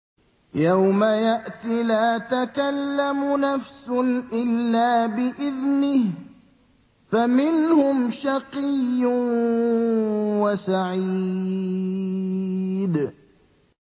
يَوْمَ يَأْتِ لَا تَكَلَّمُ نَفْسٌ إِلَّا بِإِذْنِهِ ۚ فَمِنْهُمْ شَقِيٌّ وَسَعِيدٌ